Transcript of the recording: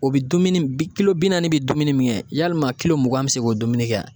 O bi dumuni bi naani bi dumuni min kɛ yalima mugan be se k'o dumuni kɛ a?